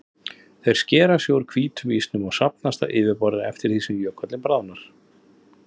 Þeir skera sig úr hvítum ísnum og safnast á yfirborðið eftir því sem jökullinn bráðnar.